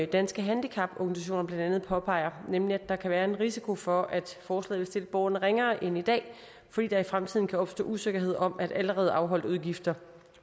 danske handicaporganisationer blandt andet påpeger nemlig at der kan være en risiko for at forslaget vil stille borgerne ringere end i dag fordi der i fremtiden kan opstå usikkerhed om hvorvidt allerede afholdte udgifter